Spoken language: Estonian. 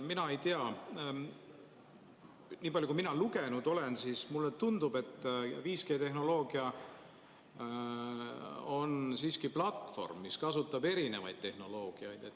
Mina ei tea, nii palju, kui mina lugenud olen, siis mulle tundub, et 5G-tehnoloogia on siiski platvorm, mis kasutab erinevat tehnoloogiat.